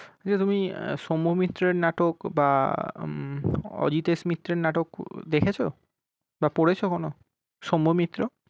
আচ্ছা তুমি সৌম্যমিত্রের নাটক খুব বা উম অজিতেশ মিত্রের নাটক দেখেছো? বা পড়েছো কোনো, সৌম্যমিত্র?